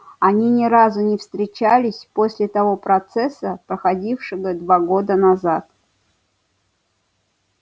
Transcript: они ни разу не встречались после того процесса проходившего два года назад